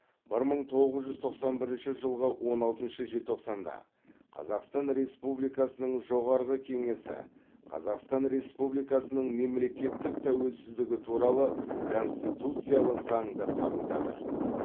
бір мың тоғыз жүз тоқсан бірінші жылғы он алтыншы желтоқсанда қазақстан республикасының жоғарғы кеңесі қазақстан республикасының мемлекеттік тәуелсіздігі туралы конституциялық заңды қабылдады